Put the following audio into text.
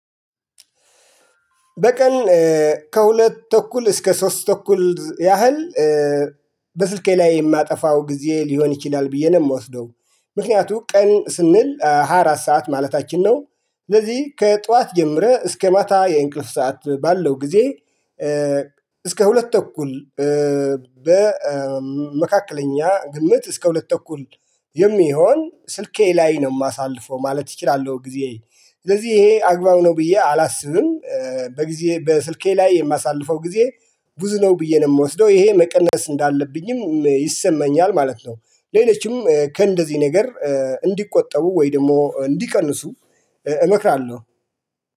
በቀን ከሁለት ተኩል እስከ ሶስት ተኩል ያህል በስልኬ ላይ የማጠፋው ጊዜ ሊሆን ይችላል ብዬ ነው የምወስደው። ምክንያቱም ቀን ስንል ሃያ አራት ሰዓት ማለታችን ነው ስለዚህ ከጧት ጀምረህ እስከ ማታ የእንቅልፍ ሰዓት ባለው ጊዜ። እስከ ሁለት ተኩል በመካከለኛ ግምት እስከ ሁለት ተኩል የሚሆን ስልኬ ላይ ነው የማሳልፈው ማለት ይችላል ጊዜ። ስለዚህ ይሄ አግባብ ነው ብዬ አላስብም። በጊዜ በስልኬ ላይ የማሳልፈው ጊዜ ብዙ ነው ብዬ ነው የምወስደው ይሄ መቀነስ እንዳለብኝም ይሰማኛል ማለት ነው። ሌሎችም ከእንደዚህ ነገር እንዲቆጠቡ ወይ ደግሞ እንዲቀንሱ እመክራለሁ